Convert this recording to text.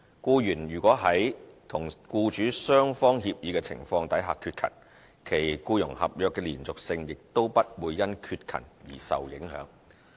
僱員如在與僱主雙方協議的情況下缺勤，其僱傭合約的連續性亦不會因缺勤而受影響。